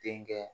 Den kɛ